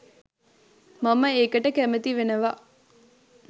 මම ඒකට කැමති වෙනවා